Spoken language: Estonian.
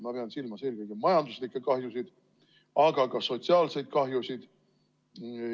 Ma pean silmas eelkõige majanduslikke kahjusid, aga ka sotsiaalseid kahjusid.